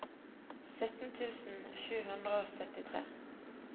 sytten tusen sju hundre og syttitre